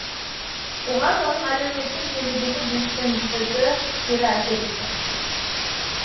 оған оның әлеуметтік желідегі белсендігі кері әсер еткен